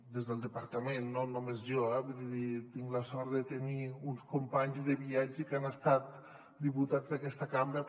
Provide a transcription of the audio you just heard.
des del departa·ment no només jo eh vull dir tinc la sort de tenir uns companys de viatge que han estat diputats d’aquesta cambra